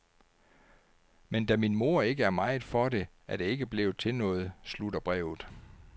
Men da min mor ikke er meget for det, er det ikke blevet til noget, slutter brevet.